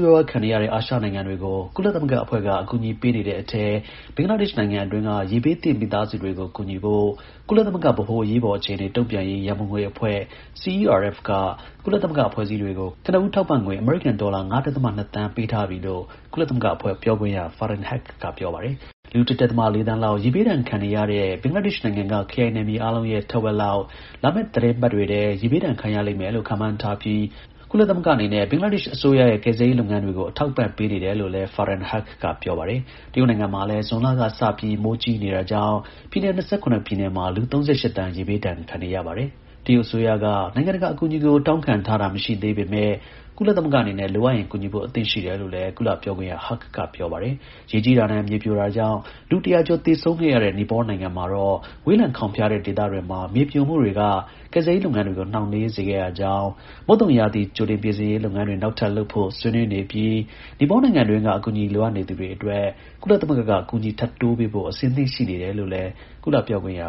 ရွား ခံနေရတဲ့ အာရှနိုင်ငံတွေကို ကုလသမဂ္ဂအဖွဲ့က အကူအညီပေးနေတဲ့အထဲ ဘင်္ဂလားဒေ့ရှ်နိုင်ငံအတွင်း က ရေဘေးသင့် မိသားစုတွေကို ကူညီဖို့ကုလသမဂ္ဂ ဗဟို အရေးပေါ် အခြေအနေ တုံ့ပြန်ရေး ရန်ပုံငွေ အဖွဲ က ကုလ သမဂ္ဂ အဖွဲ့အစည်းတွေကို ကနဦး ထောက်ပံ့ငွေ အမေရိကန် ဒေါ်လာ ၅ ဒဿမ ၂ သန်း ပေးအပ်ထားပြီလို့ ကုလသမဂ္ဂအဖွဲ့ပြောခွင့်ရ Farhan Haq က ပြောပါတယ်။ လူ ၁ ဒဿမ ၄ သန်းလောက် ရေဘေးဒဏ်ခံနေရတဲ့ ဘင်္ဂလားဒေ့ရှ်နိုင်ငံက ခရိုင်နယ်မြေအားလုံးရဲ့ ထက်ဝက် လောက် လာမယ့် သီတင်းပတ်တွေထဲ ရေဘေးဒဏ် ခံရလိမ့်မယ်လို့ ခန့်မှန်းထားပြီး ကုလသမဂ္ဂအနေနဲ့ ဘင်္ဂလားဒေ့ရှ် အစိုးရရဲ့ ကယ်ဆယ်ရေး လုပ်ငန်းတွေကို အထောက်အပံ့ပေးနေတယ်လို့လည်း Farhan Haq က ပြောပါတယ်။ တရုတ်နိုင်ငံမှာလည်း ဇွန်လက စပြီး မိုးကြီးတာကြောင့် ပြည်နယ် ၂၇ ပြည်နယ်မှာ လူ ၃၈ သန်း ရေဘေးဒဏ် ခံနေရပါတယ်။ တရုတ်အစိုးရက နိုင်ငံတကာကို အကူအညီတောင်းခံထားတာ မရှိသေးပေမဲ့ ကုလသမဂ္ဂအနေနဲ့ လိုအပ်ရင် ကူညီဖို့ အသင့်ရှိတယ် လို့လည်း ကုလပြောခွင့်ရ Haq က ပြောပါတယ်။ ရေကြီးတာနဲ့ မြေပြိုတာကြောင့် လူ ၁၀၀ ကျော် သေဆုံးခဲ့ရတဲ့ နီပေါနိုင်ငံမှာတော့ ဝေးလံခေါင်ဖျားတဲ့ဒေသတွေမှာ မြေပြိုမှုတွေကကယ်ဆယ်ရေးလုပ်ငန်းတွေကို နှောင်နှေးစေခဲ့ရကြောင်း၊ မုတ်သုံရာသီ ကြိုတင်ပြင်ဆင်ရေး လုပ်ငန်းတွေ နောက်ထပ် လုပ်ဖို့ ဆွေးနွေးနေပြီး နီပေါနိုင်ငံတွင်းက အကူအညီ လိုအပ်နေသူတွေအတွက် ကုသသမဂ္ဂက အကူအညီ ထပ်တိုးပေးဖို့ အသင့် ရှိနေ တယ်လို့လည်း ကုလ ပြောခွင့်ရ